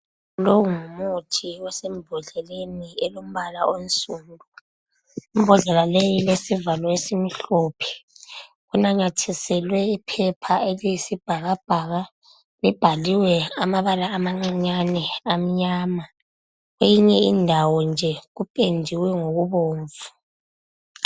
Lo ngumuthi osembodleni elombala onsundu. Imbodlela leyi ilesivalo esimhlophe. Inanyathiselwa iphepha eliyisibhakabhaka. Libhaliwe amabala amancinyane amnyama. Eyinye indawo nje kupendiwe ngokubomvu.